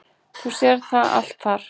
Þú sérð það allt þar.